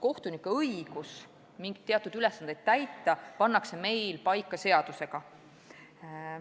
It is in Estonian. Kohtunike õigused mingeid ülesandeid täita pannakse meil paika seadusega.